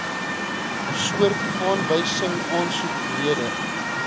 soort aanwysingsaansoek rede